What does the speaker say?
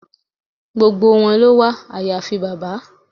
Gbogbo wọn ló wà àyàfi bàbá.